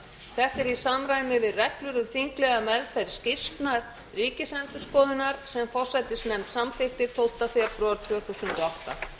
þetta er í samræmi við reglur um þinglega meðferð skýrslna ríkisendurskoðunar sem forsætisnefnd samþykkt tólfta febrúar tvö þúsund